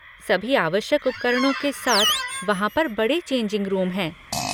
सभी आवश्यक उपकरणों के साथ वहाँ पर बड़े चेंजिंग रूम हैं।